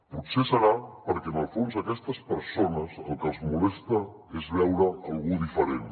potser serà perquè en el fons a aquestes persones el que els molesta és veure algú diferent